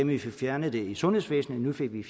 vi fik fjernet det i sundhedsvæsenet nu får vi